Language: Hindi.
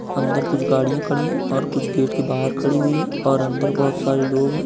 अंदर कुछ गाड़ियाँ खड़ी हैं और कुछ गेट के बाहर खड़ी हुई हैं और अंदर बोहोत सारे लोग हैं।